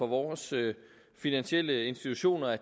vores finansielle institutioner